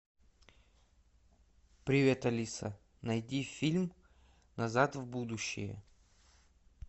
привет алиса найди фильм назад в будущее